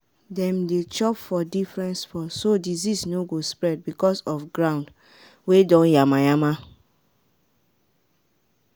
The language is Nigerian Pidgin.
dem dey chop for different spot so disease no go spread because of ground wey don yama yama